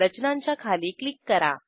रचनांच्या खाली क्लिक करा